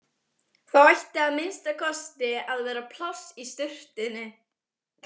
Þá ætti að minnsta kosti að vera pláss í sturtunni.